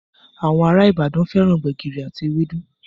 Àwọn ará Ìbàdàn fẹ́ran gbẹ̀gìrì àti ewédú